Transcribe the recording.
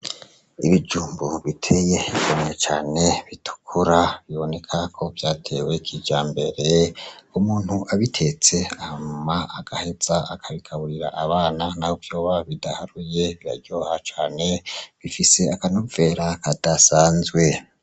Ibijumbu biteye igomwe cane bitukura biboneka ko vyatewe kijambere umuntu abitetse hanyuma agaheza akabigaburira abana naho vyoba bidaharuye biraryoha cane bifise akanovera kadasanzwe.